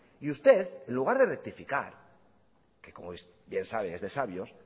y usted en lugar de rectificar que como bien sabe es de sabios